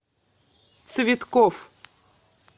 цветкофф